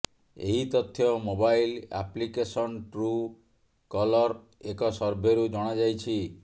ଏହି ତଥ୍ୟ mobile application ଟ୍ରୁ କଲର୍ର ଏକ ସର୍ଭେରୁ ଜଣାଯାଇଛି